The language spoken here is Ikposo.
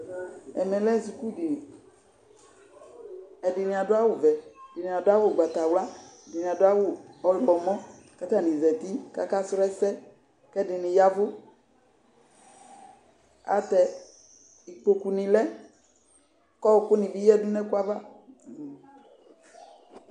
Ɛmɛ lɛ sukudiniɛɖini aɖʋ awuvɛ, ɛɖini aɖʋ awu ʋgbatawla, ɛɖini aɖʋ awu ɔyɔmɔ, k'atani zati k'aka sʋ ɛsɛ, k'ɛɖini yaa ɛvuAtɛ ikpoku lɛ k'ɔkʋnibi yea nʋ ɛkʋ ava